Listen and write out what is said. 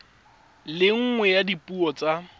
le nngwe ya dipuo tsa